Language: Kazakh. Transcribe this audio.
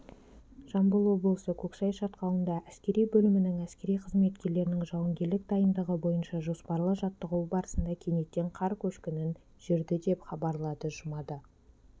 жамбыл облысы көксай шатқалында әскери бөлімінің әскери қызметкерлерінің жауынгерлік дайындығы бойынша жоспарлы жаттығуы барысында кенеттен қар көшкіні жүрді деп хабарлады жұмада